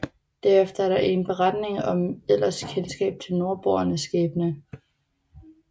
Derefter er der ingen beretninger om eller kendskab til nordboernes skæbne